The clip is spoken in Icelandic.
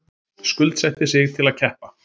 Skuldsetti sig til að keppa